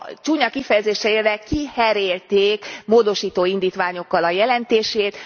Csúnya kifejezéssel élve kiherélték módosító indítványokkal a jelentését.